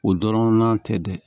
O dɔrɔn na tɛ dɛ